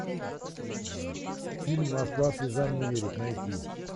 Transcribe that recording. фильм москва слезам не верит найти